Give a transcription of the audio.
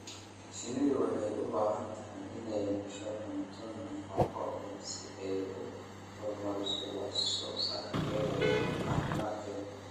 Shinnidu waxay u baahan tahay inay hesho cunto nafaqo leh si ay u horumariso wax soo saarkeeda iyo caafimaadkeeda.